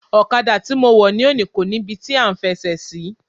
Ọ̀kadà tí mo wọ̀ ni òní kò ní ibi tí à ń fẹsẹ̀ sí.